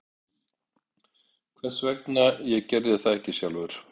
Hvers vegna ég gerði það ekki sjálfur?